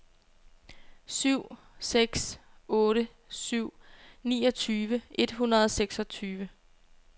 syv seks otte syv niogtyve et hundrede og seksogtyve